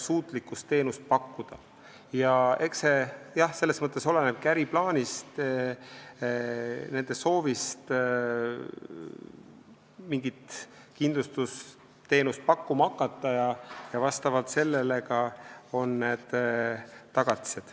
Eks see jah selles mõttes olenebki äriplaanist ja nende soovist mingit kindlustusteenust pakkuma hakata ning vastavalt sellele on ka need tagatised.